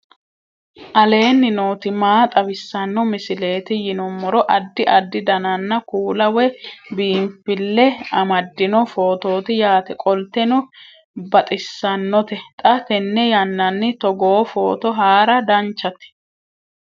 aleenni nooti maa xawisanno misileeti yinummoro addi addi dananna kuula woy biinfille amaddino footooti yaate qoltenno baxissannote xa tenne yannanni togoo footo haara danchate